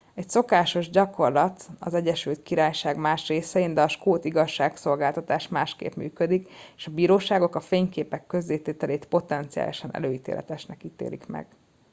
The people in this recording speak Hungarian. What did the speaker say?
ez szokásos gyakorlat az egyesült királyság más részein de a skót igazságszolgáltatás másképp működik és a bíróságok a fényképek közzétételét potenciálisan előítéletesnek ítélik meg